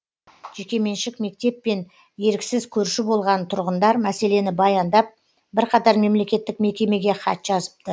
жекеменшік мектеппен еріксіз көрші болған тұрғындар мәселені баяндап бірқатар мемлекеттік мекемеге хат жазыпты